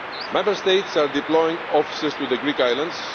Member States are deploying officers to the Greek islands.